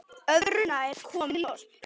Öðru nær, kom í ljós.